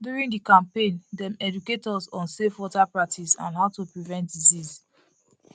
during the campaign dem educate us on safe water practices and how to prevent disease